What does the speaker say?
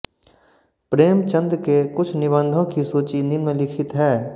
प्रेमचंद के कुछ निबन्धों की सूची निम्नलिखित है